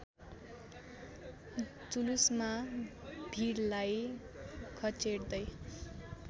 जुलुसमा भिडलाई घचेट्दै